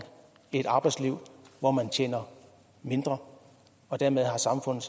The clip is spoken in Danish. et arbejdsliv hvor man tjener mindre og dermed har samfundet